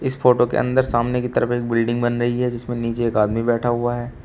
इस फोटो के अंदर सामने की तरफ एक बिल्डिंग बन रही है जिसमें नीचे एक आदमी बैठा हुआ है।